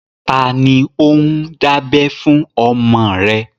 Ta ni ó ń dábẹ fún ọmọ rẹ?